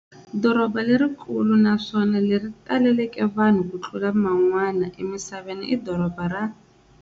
Dorobha lerikulu naswona leri taleke vanhu kutlula man'wana emisaveni i dorobha ra.